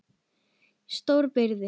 Stritað gat með stóra byrði.